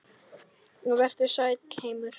Vertu sæll, heimur.